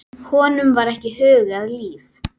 Honum var ekki hugað líf.